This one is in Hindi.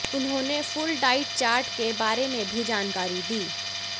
उन्होंने फुल डाइट चार्ट के बारे में भी जानकारी दी